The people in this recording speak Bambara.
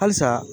Halisa